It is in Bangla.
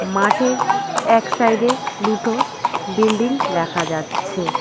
মাঠের এক সাইডে দুটো বিল্ডিং দেখা যাচ্ছে।